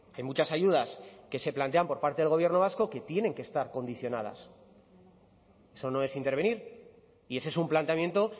en muchas ayudas que se plantean por parte del gobierno vasco que tienen que estar condicionadas eso no es intervenir y ese es un planteamiento